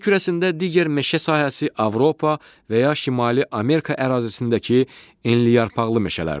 Yer kürəsində digər meşə sahəsi Avropa və ya Şimali Amerika ərazisindəki enliyarpaqlı meşələrdir.